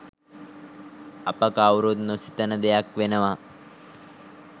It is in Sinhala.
අප කවුරුත් නොසිතන දෙයක් වෙනවා